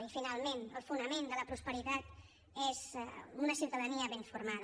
i finalment el fonament de la prosperitat és una ciutadania ben formada